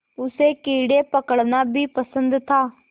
उसे कीड़े पकड़ना भी पसंद था